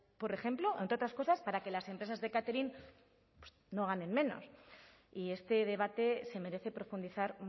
por ejemplo entre otras cosas para que las empresas de catering no ganen menos y este debate se merece profundizar